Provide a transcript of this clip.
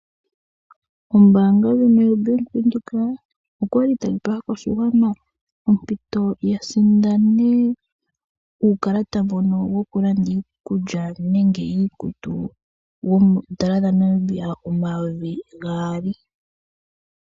Ombanga ndyono yobank windhoek okwali tayi pe aakwashigwana ompito ya sindane uukalata mbono woku landa iikulya nenge iikutu wondola dhaNamibia omayovi gaali.